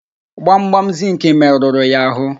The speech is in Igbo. Gbamgbam zịnkị merụrụ ya ahụ.